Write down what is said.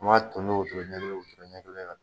An b'a ton ni wotoro ɲɛ kelen wotoro ɲɛ kelen